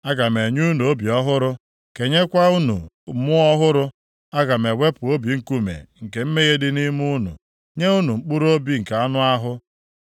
Aga m enye unu obi ọhụrụ, kenyekwa unu mmụọ ọhụrụ. Aga m ewepụ obi nkume nke mmehie dị nʼime unu, nye unu mkpụrụobi nke anụ ahụ.